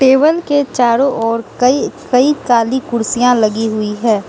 Table के चारों ओर कई कई काली कुर्सियां लगी हुई है।